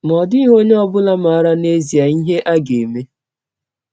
Ma ọ dịghị onye ọ bụla maara n’ezie ihe a ga - eme.